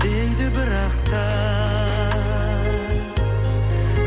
дейді бірақ та